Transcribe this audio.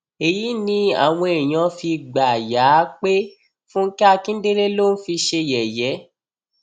èyí ni àwọn èèyàn fi gbà yà á pé fúnkẹ akíndélé ló ń fi ṣe yẹyẹ